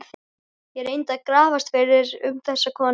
Ég reyndi að grafast fyrir um þessa konu.